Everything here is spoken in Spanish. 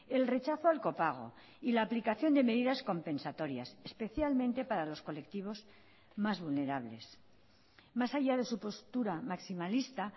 el rechazo al copago y la aplicación de medidas compensatorias especialmente para los colectivos más vulnerables más allá de su postura maximalista